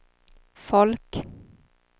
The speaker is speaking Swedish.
folk